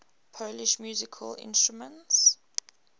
polish musical instruments